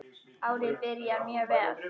Árið byrjar mjög vel.